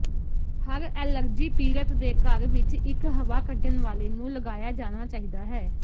ਹਰ allergy ਪੀੜਤ ਦੇ ਘਰ ਵਿੱਚ ਇੱਕ ਹਵਾ ਕੱਢਣ ਵਾਲੇ ਨੂੰ ਲਗਾਇਆ ਜਾਣਾ ਚਾਹੀਦਾ ਹੈ